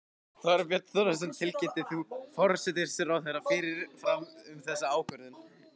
Þorbjörn Þórðarson: Tilkynntir þú forsætisráðherra fyrirfram um þessa ákvörðun?